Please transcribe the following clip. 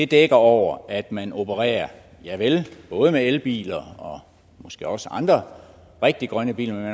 dækker over at man opererer både med elbiler og måske også andre rigtig grønne biler